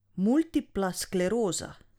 Multipla skleroza?